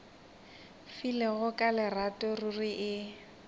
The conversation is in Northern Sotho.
filego ka lerato ruri e